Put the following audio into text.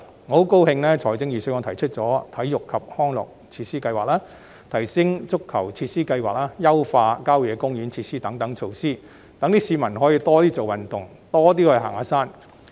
我很高興預算案提出了體育及康樂設施計劃、提升足球場設施計劃、優化郊野公園設施等措施，讓市民可以多運動、多行山。